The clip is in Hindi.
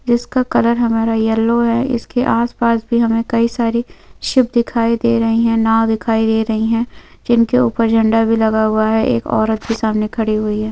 जिसका कलर हमारा येलो है इसके आसपास भी हमें कई सारी शिप दिखाई दे रही है नांव दिखाई दे रही है जिनके ऊपर झंडा भी लगा हुआ है एक औरत भी सामने खड़ी हुई है।